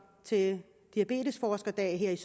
til diabetesforskerdag her